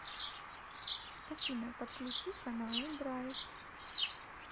афина подключи каналы драйв